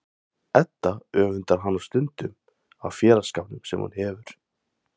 Edda öfundar hana stundum af félagsskapnum sem hún hefur.